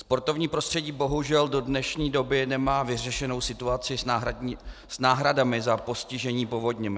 Sportovní prostředí bohužel do dnešní doby nemá vyřešenou situaci s náhradami za postižení povodněmi.